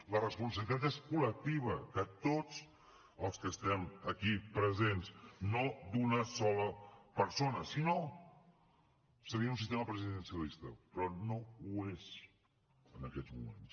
la responsabilitat és col·lectiva de tots els que estem aquí presents no d’una sola persona sinó seria un sistema presidencialista però no ho és en aquests moments